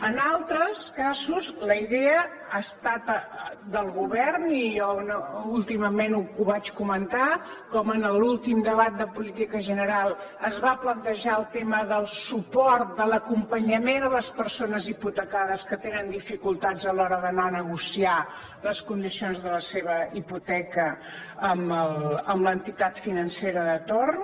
en altres casos la idea ha estat del govern i últimament ho vaig comentar com en l’últim debat de política general es va plantejar el tema del suport de l’acompanyament a les persones hipotecades que tenen dificultats a l’hora d’anar a negociar les condicions de la seva hipoteca amb l’entitat financera de torn